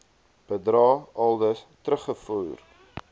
bedrae aldus teruggevorder